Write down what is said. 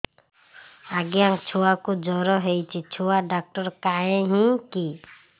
ଆଜ୍ଞା ଛୁଆକୁ ଜର ହେଇଚି ଛୁଆ ଡାକ୍ତର କାହିଁ କି